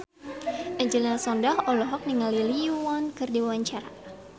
Angelina Sondakh olohok ningali Lee Yo Won keur diwawancara